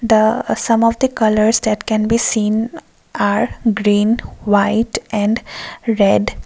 the some of the colours that can be seen are green white and red.